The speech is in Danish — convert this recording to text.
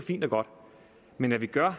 fint og godt men hvad vi gør